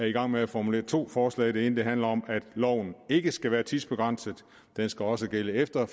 i gang med at formulere to forslag det ene handler om at loven ikke skal være tidsbegrænset den skal også gælde efter